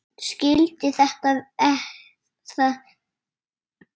Skildi þetta ekki.